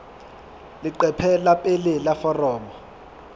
leqephe la pele la foromo